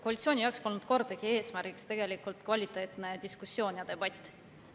Koalitsiooni jaoks polnud kordagi eesmärgiks kvaliteetne diskussioon ja debatt.